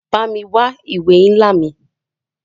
Bámi wa ìwé nla mí.